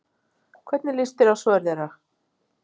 Hvernig lýst þér á svör þeirra?